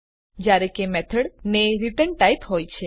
જયારે કે મેથડ ને રીટર્ન ટાઇપ હોય છે